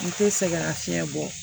N te sɛgɛnna fiɲɛ bɔ